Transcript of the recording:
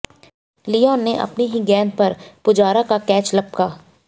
Leone ने अपनी ही गेंद पर पुजारा का कैच लपका